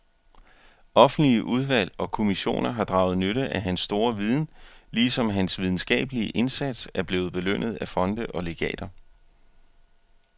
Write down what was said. Offentlige udvalg og kommissioner har draget nytte af hans store viden, ligesom hans videnskabelige indsats er blevet belønnet af fonde og legater.